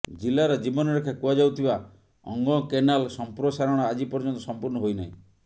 ଜିଲାର ଜୀବନରେଖା କୁହାଯାଉଥିବା ଅଙ୍ଗକେନାଲ ସମ୍ପ୍ରସାରଣ ଆଜି ପର୍ଯ୍ୟନ୍ତ ସମ୍ପୂର୍ଣ୍ଣ ହୋଇ ନାହିଁ